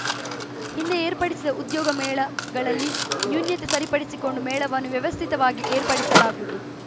ಹಿಂದೆ ಏರ್ಪಡಿಸಿದ ಉದ್ಯೋಗ ಮೇಳಗಳಲ್ಲಿನ ನ್ಯೂನ್ಯತೆ ಸರಿಪಡಿಸಿಕೊಂಡು ಮೇಳವನ್ನು ವ್ಯವಸ್ಥಿತವಾಗಿ ಏರ್ಪಡಿಸಲಾಗುವುದು